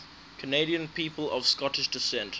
canadian people of scottish descent